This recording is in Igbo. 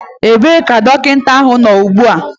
Ebee ka dọkịta nọ ugbu a?